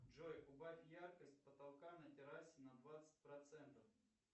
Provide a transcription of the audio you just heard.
джой убавь яркость потолка на террасе на двадцать процентов